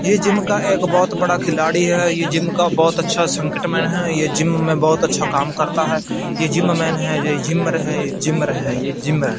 ये जिम का एक बहोत बड़ा खिलाड़ी है ये जिम का बहोत अच्छा संकट में है ये जिम में बहोत अच्छा काम करता है ये जिम मैन है ये जिमर है ये जिमर है।